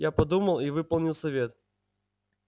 я подумал и выполнил совет